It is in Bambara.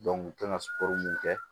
u kan ka mun kɛ